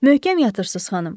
Möhkəm yatırsız xanım.